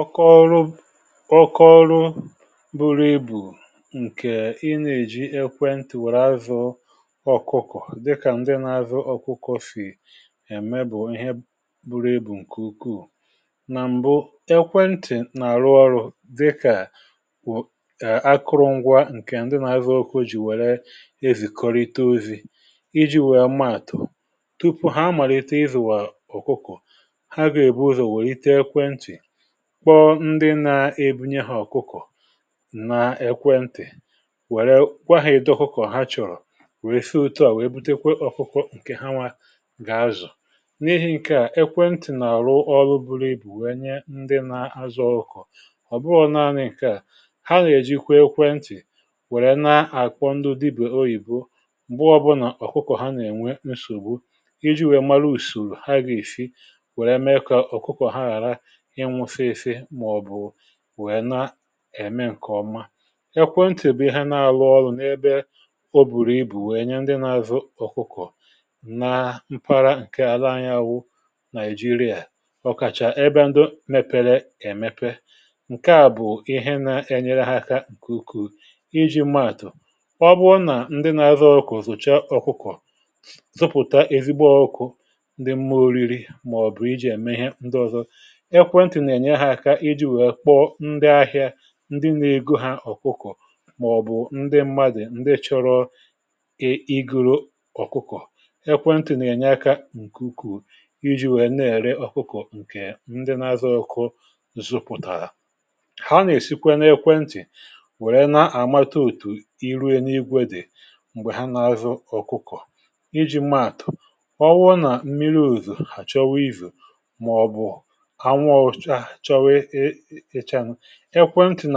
ọkọọrụ ọkọọrụ buru ebu̇ ǹkè ịnà èji ekwentị̀ wèrè azụ ọ̀kụkọ̀ dịkà ndị nà-azụ ọ̀kụkọ̀ sì ème bụ̀ ihe buru ebu̇ um ǹkè ukwuù nà m̀bụ ekwentị̀ nà-àrụ ọrụ dịkà wù akụrụ ngwa ǹkè ndị nà-azụ ọkọ o jì wère èzìkọrite ozi̇ iji̇ wèe maàtụ̀ tupu ha màlìta ịzụ̀ wà ọ̀kụkụ̀ kpọọ ndị nȧ-ebunye hȧ ọkụkọ̀ nà ekwentị̀ wèrè kwa hȧ edo kụkọ̀ ha chọ̀rọ̀, wèe fee ụtọ à wèe butekwe ọkụkọ ǹkè ha nwa gà-azọ̀. n’ihi ǹke à, ekwentị̀ nà-àrụ ọlụbụrụ ibù wèe nye ndị nȧ-azọ ọkụkụ ọ̀ bụghọ naanị ǹke à, ha nà-èji kwe ekwentị̀ wèrè na-àkwọndụ dibù oyìbo um m̀gbo ọbụnà ọ̀kụkọ̀ ha nà-ènwe nsògbu iji̇ wèe mara ùsòrò ha gà-èsi wèe mee kà ọ̀kụkọ̀ ha ghàra nwee na-eme ǹkè ọma. ekwentị̀ bụ̀ ha na-alụ ọlụ n’ebe o bùrù ibù nwee nye ndị na-azụ ọkụkọ̀ na mkpara ǹke ala anya àwụ Nigeria ọkàchà ebe ndị mepere èmepe. ǹke àbụ̀ ihe na-enyere ha aka ǹkùkù iji̇ mmaatụ̀ ọ bụrụ nà ndị na-azụ ọkụkụ̀ zụ̀cha ọkụkụ̀ zụpụ̀ta ezigbo ọkụ̇ ndị mma oriri. èkwentì nà-ènye ha aka iji wèe kpọọ ndị ahị̇ȧ ndị nà-ego ha ọ̀kụkụ̀ um màọ̀bụ̀ ndị mmadụ̀ ndị chọrọ ị gụrụ ọ̀kụkọ̀. ekwentì nà-ènye aka ǹkù ukwù iji wèe nà-ère ọ̀kụkụ̀ ǹkè ndị na-azụ ọkụ zupụ̀tà. ha nà-èsikwe na ekwentì wèrè na-àmata òtù iru ena igwe dị̀ m̀gbè ha na-azụ ọ̀kụkụ̀ iji maàtụ̀ ọwụrụ nà mmiri ùzù àchọwa izù màọbụ̀. ekwentị̀